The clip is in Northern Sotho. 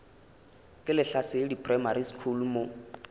ke lehlasedi primary school mo